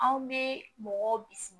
Anw bɛ mɔgɔw bisi